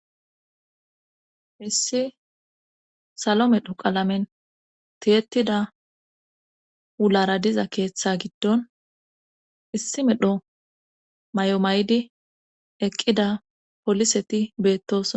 issi salo medho qalamen tiyettida wulara diza keeththe giddon issi medho may7o maydi eqqida poliseti beettos